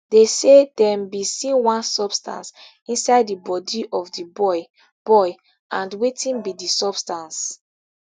dey say dem bin see one substance inside di body of di boy boy and wetin be di substance